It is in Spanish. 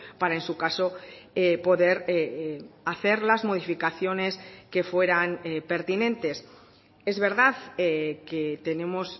para en su caso poder hacer las modificaciones que fueran pertinentes es verdad que tenemos